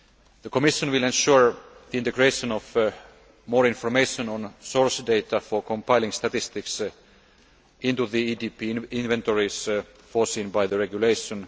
The Commission will ensure the integration of more information on source data for compiling statistics into the EDP inventories foreseen by the regulation.